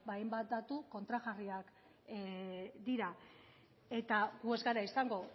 ba hainbat datu kontrajarriak dira eta gu ez gara izango